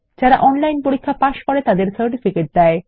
যারা অনলাইন পরীক্ষা পাস করে তাদের সার্টিফিকেট দেয়